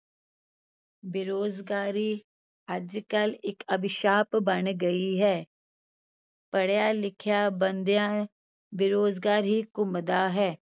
ਬੇਰੁਜ਼ਗਾਰੀ ਅੱਜ ਕੱਲ੍ਹ ਇੱਕ ਅਬਿਸ਼ਾਪ ਬਣ ਗਈ ਹੈ ਪੜ੍ਹਿਆ ਲਿਖਿਆ ਬੰਦਿਆ ਬੇਰੁਜ਼ਗਾਰ ਹੀ ਘੁੰਮਦਾ ਹੈ।